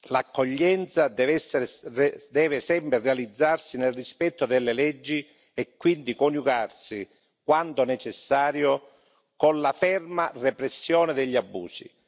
L'accoglienza deve sempre realizzarsi nel rispetto delle leggi e quindi coniugarsi, quando necessario, con la ferma repressione degli abusi